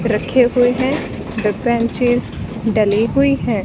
रखे हुए हैं ड्री बेंचेस डली हुई है।